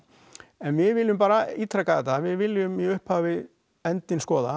en við viljum bara ítreka þetta við viljum í upphafi endinn skoða